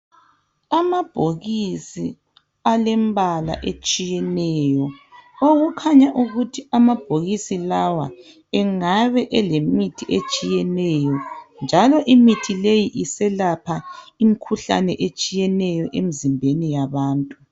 Amabhokisi alembala etshiyeneyo okukhanya ukuthi amabhokisi lawa engabe elemithi etshiyeneyo njalo imithi leyi iselapha imkhuhlane etshiyeneyo emzimbeni yabantu.